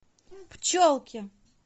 пчелки